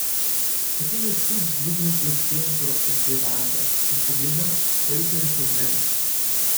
Potem je Sič dvignil plastenko z bevando in pogledal, koliko je še v njej.